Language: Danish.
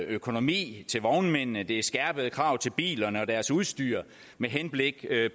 økonomi til vognmændene det er skærpede krav til bilerne og deres udstyr med henblik